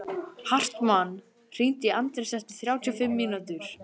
Hartmann, hringdu í Anders eftir þrjátíu og fimm mínútur.